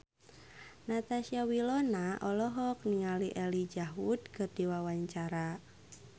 Natasha Wilona olohok ningali Elijah Wood keur diwawancara